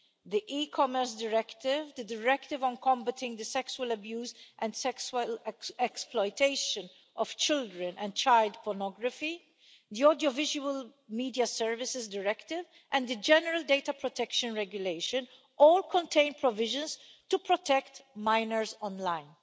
The e Commerce Directive, the directive on combating the sexual abuse and sexual exploitation of children and child pornography, the Audiovisual Media Services Directive and the general Data Protection Regulation all contain provisions to protect minors online.